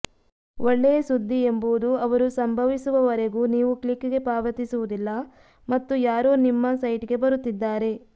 ಒಳ್ಳೆಯ ಸುದ್ದಿ ಎಂಬುದು ಅವರು ಸಂಭವಿಸುವವರೆಗೂ ನೀವು ಕ್ಲಿಕ್ಗೆ ಪಾವತಿಸುವುದಿಲ್ಲ ಮತ್ತು ಯಾರೋ ನಿಮ್ಮ ಸೈಟ್ಗೆ ಬರುತ್ತಿದ್ದಾರೆ